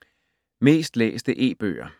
Mest læste e-bøger